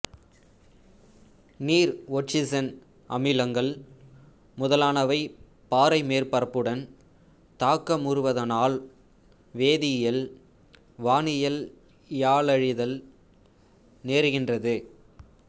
நீர் ஒட்சிசன் அமிலங்கள் முதலானவை பாறை மேற்பரப்புடன் தாக்கமுறுவதானால் வேதியியல் வானிலையாலழிதல் நேருகின்றது